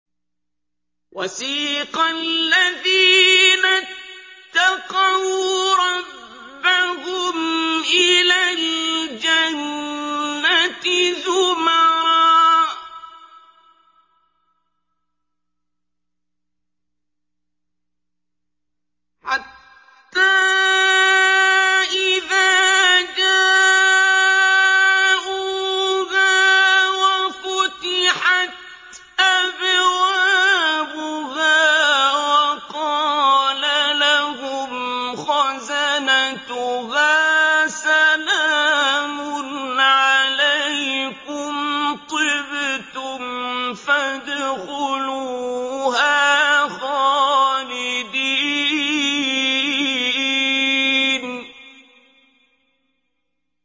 وَسِيقَ الَّذِينَ اتَّقَوْا رَبَّهُمْ إِلَى الْجَنَّةِ زُمَرًا ۖ حَتَّىٰ إِذَا جَاءُوهَا وَفُتِحَتْ أَبْوَابُهَا وَقَالَ لَهُمْ خَزَنَتُهَا سَلَامٌ عَلَيْكُمْ طِبْتُمْ فَادْخُلُوهَا خَالِدِينَ